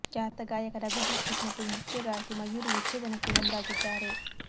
ಖ್ಯಾತ ಗಾಯಕ ರಘು ದೀಕ್ಷಿತ್ ಮತ್ತು ನೃತ್ಯಗಾರ್ತಿ ಮಯೂರಿ ವಿಚ್ಛೇದನಕ್ಕೆ ಮುಂದಾಗಿದ್ದಾರೆ